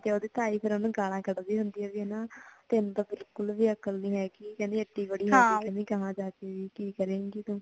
ਤੇ ਓਦੀ ਤਾਈਂ ਫੇਰ ਓਨੁ ਗਾਲਾਂ ਕੱਢਦੀ ਹੁੰਦੀ ਹੈ ਓਨੁ ਕੇ ਤੈਨੂੰ ਤੇ ਬਿਲਕੁਲ ਵੀ ਅਕਲ ਨੀ ਹੈਗੀ ਕਹਿੰਦੀ ਏਡੀ ਵਡੀ ਹੋ ਗਈ ਕਹਿੰਦੀ ਕਿ ਕਰੇਂਗੀ ਤੂ